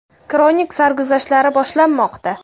Kronik sarguzashtlari boshlanmoqda!